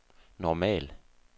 normal